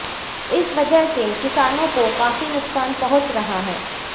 इस वजह से किसानों को काफी नुकसान पहुंच रहा है